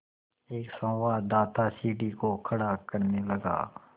एक संवाददाता सीढ़ी को खड़ा करने लगा